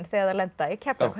þegar þær lenda í Keflavík